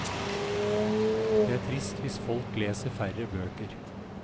Det er trist hvis folk leser færre bøker.